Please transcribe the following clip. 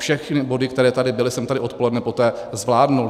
Všechny body, které tady byly, jsem tady odpoledne poté zvládl.